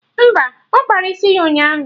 Mba, ọ kpara isi ya ụnyaahụ